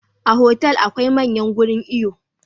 A hotel akwai manyan gurin iyo